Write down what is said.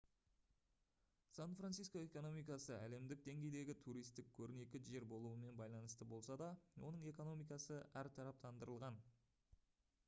сан-франциско экономикасы әлемдік деңгейдегі туристік көрнекі жер болуымен байланысты болса да оның экономикасы әртараптандырылған